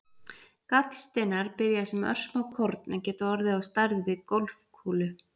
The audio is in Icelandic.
Gallsteinar byrja sem örsmá korn en geta orðið á stærð við golfkúlu.